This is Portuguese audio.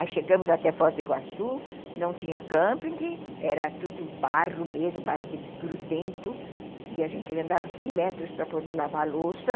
Aí chegamos até Foz do Iguaçu, não tinha camping, era tudo barro mesmo, barro de grudento, e a gente andava cem metros para poder lavar a louça.